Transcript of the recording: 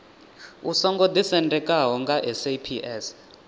u songo ḓisendekaho nga saps